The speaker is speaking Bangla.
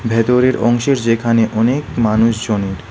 ভেতরের অংশের যেখানে অনেক মানুষজনের--